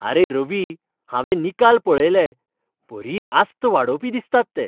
आरे रवी, हांवें निकाल पळयले, बरी आस्त वाडोवपी दिसतात ते.